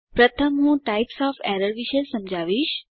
પ્રથમ હું types of errors વિશે સમજાવીશ